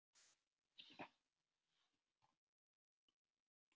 Ég býst við að þeir núi þér einhverju um nasir líka?